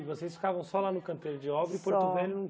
E vocês ficavam só lá no canteiro de obra Só E Porto Velho